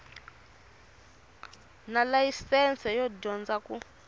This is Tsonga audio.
na layisense yo dyondza ku